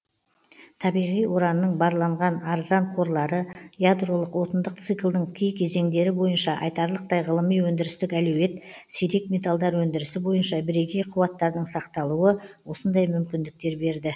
табиғи уранның барланған арзан қорлары ядролық отындық циклдың кей кезеңдері бойынша айтарлықтай ғылыми өндірістік әлеует сирек металдар өндірісі бойынша бірегей қуаттардың сақталуы осындай мүмкіндіктер берді